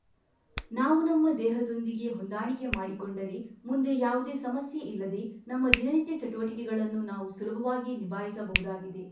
ನಾವು ನಮ್ಮ ದೇಹದೊಂದಿಗೆ ಹೊಂದಾಣಿಕೆ ಮಾಡಿಕೊಂಡರೆ ಮುಂದೆ ಯಾವುದೇ ಸಮಸ್ಯೆ ಇಲ್ಲದೆ ನಮ್ಮ ದಿನನಿತ್ಯ ಚಟುವಟಿಕೆಗಳನ್ನು ನಾವು ಸುಲಭವಾಗಿ ನಿಭಾಯಿಸಬಹುದಾಗಿದೆ